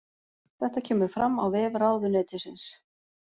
Þetta kemur fram á vef ráðuneytisins